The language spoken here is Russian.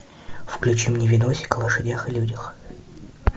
включи мне видосик о лошадях и людях